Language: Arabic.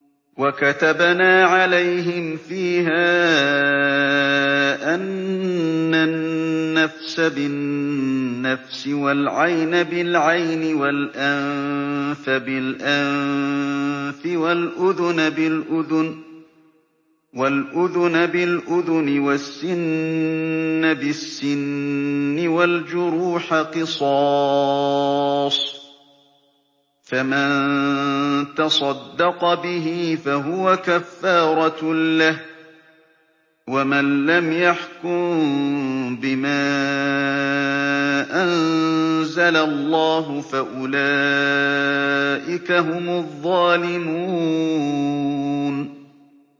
وَكَتَبْنَا عَلَيْهِمْ فِيهَا أَنَّ النَّفْسَ بِالنَّفْسِ وَالْعَيْنَ بِالْعَيْنِ وَالْأَنفَ بِالْأَنفِ وَالْأُذُنَ بِالْأُذُنِ وَالسِّنَّ بِالسِّنِّ وَالْجُرُوحَ قِصَاصٌ ۚ فَمَن تَصَدَّقَ بِهِ فَهُوَ كَفَّارَةٌ لَّهُ ۚ وَمَن لَّمْ يَحْكُم بِمَا أَنزَلَ اللَّهُ فَأُولَٰئِكَ هُمُ الظَّالِمُونَ